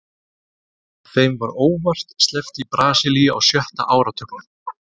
Þeim var óvart sleppt í Brasilíu á sjötta áratugnum.